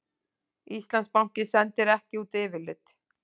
Íslandsbanki sendir ekki út yfirlit